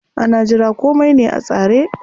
Ana jira komai ne a tsare.